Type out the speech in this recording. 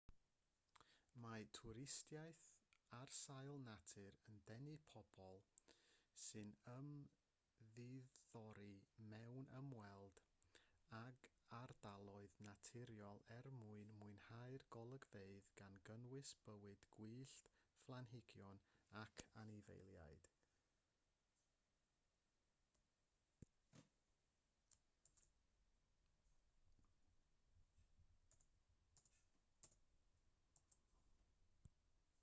mae twristiaeth ar sail natur yn denu pobl sy'n ymddiddori mewn ymweld ag ardaloedd naturiol er mwyn mwynhau'r golygfeydd gan gynnwys bywyd gwyllt planhigion ac anifeiliaid